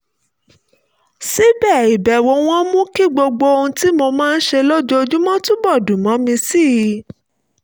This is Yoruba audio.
síbẹ̀ ìbẹ̀wò wọn mú kí gbogbo ohun tí mo máa ń ṣe lójoojúmọ́ túbọ̀ dùn mọ́ mi sí i